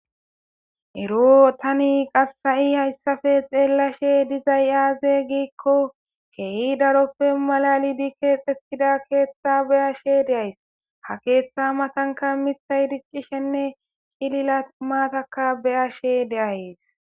eroo tani qassayi hayssafe xeellashe dizay aaze giikko keehi daroppe malali di keexxesida keeththa beyashe deays ha keeththa matanka miay diccishenne hilila maataka beyashe deayes